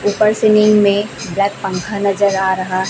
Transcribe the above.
उपर सीलिंग में ब्लैक पंखा नजर आ रहा--